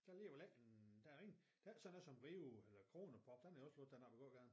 Der ligger vel ikke der ingen der ikke sådan noget som Rio eller Corona pub den er også lukket den her på gågaden